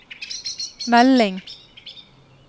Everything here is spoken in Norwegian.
melding